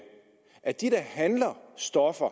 at de der handler stoffer